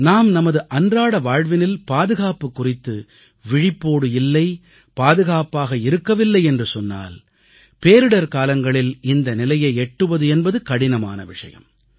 நாம் நமது அன்றாட வாழ்வினில் பாதுகாப்பு குறித்து விழிப்போடு இல்லை பாதுகாப்பாக இருக்கவில்லை என்று சொன்னால் பேரிடர் காலங்களில் இந்த நிலையை எட்டுவது என்பது கடினமான விஷயம்